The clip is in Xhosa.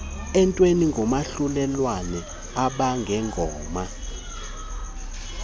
entweni nomahlulelane abangengoma